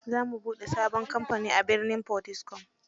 Za mu bude sabon kamfani a birnin Potiskum.